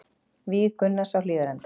Víg Gunnars á Hlíðarenda